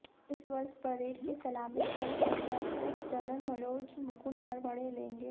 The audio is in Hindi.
इस वर्ष परेड की सलामी थलसेनाध्यक्ष जनरल मनोज मुकुंद नरवणे लेंगे